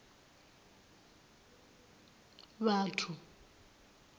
vhathu